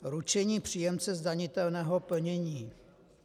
Ručení příjemce zdanitelného plnění.